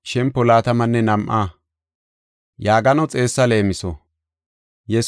Yesuusi asaas zaaridi haysada yaagidi leemiso odis.